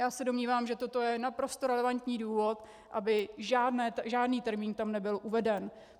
Já se domnívám, že toto je naprosto relevantní důvod, aby žádný termín tam nebyl uveden.